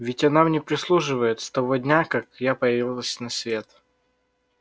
ведь она мне прислуживает с того дня как я появилась на свет